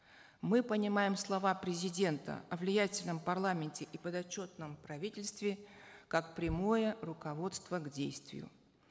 мы понимаем слова президента о влиятельном парламенте и подотчетном правительстве как прямое руководство к действию